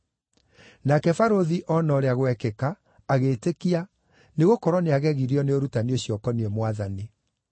Nake barũthi oona ũrĩa gwekĩka, agĩĩtĩkia, nĩgũkorwo nĩagegirio nĩ ũrutani ũcio ũkoniĩ Mwathani.